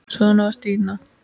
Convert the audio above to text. Svona var Stína.